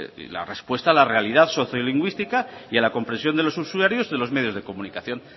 y la respuesta a la realidad sociolingüística y a la compresión de los usuarios de los medios de comunicación